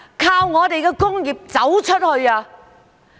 靠我們的工業走出去。